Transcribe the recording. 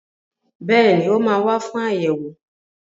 Bẹ́ẹ̀ni, ó máa wà fún ayẹwo.